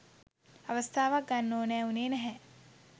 අවස්ථාවක් ගන්න ඕනෑ වුණේ නැහැ.